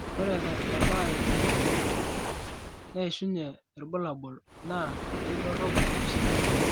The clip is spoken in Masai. ore tebaare kumok naishiunyie irbulabol, naa keidorop erishata.